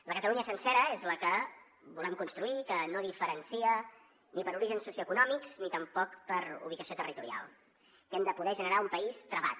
la catalunya sencera és la que volem construir que no diferencia ni per orígens socioeconòmics ni tampoc per ubicació territorial que hem de poder generar un país travat